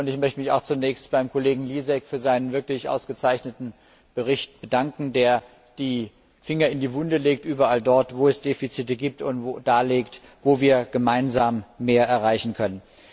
Ich möchte mich auch zunächst beim Kollegen Lisek für seinen wirklich ausgezeichneten Bericht bedanken, der die Finger überall dort in die Wunde legt, wo es Defizite gibt, und darlegt, wo wir gemeinsam mehr erreichen können.